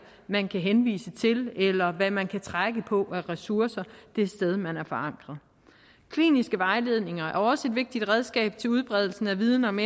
man kan henvise til eller hvad man kan trække på af ressourcer det sted man er forankret kliniske vejledninger er også et vigtigt redskab til udbredelsen af viden om